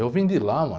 Eu vim de lá, mano.